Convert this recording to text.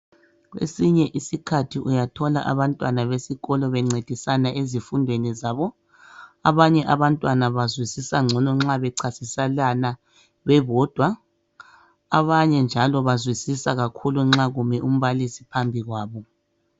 kwesinye isikhathi uyathola abantwana besikolo bencedisa ezifundweni zabo abanye abantwaa bazwisisa ncono nxa becasiselana bebodwa abanye njalo bazwisisa nxa kume umbalisi phambi kwabo